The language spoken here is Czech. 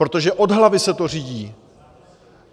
Protože od hlavy se to řídí.